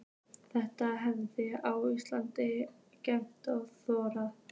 Þetta hernaðarbrölt á Íslandi er gersamlega óþolandi.